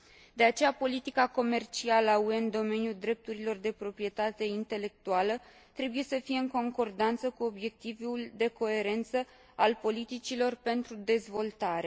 De aceea, politica comercială a UE în domeniul drepturilor de proprietate intelectuală trebuie să fie în concordanță cu obiectivul de coerență al politicilor pentru dezvoltare.